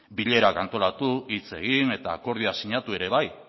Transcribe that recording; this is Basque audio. bilera antolatu hitz egin eta akordioak sinatu ere bai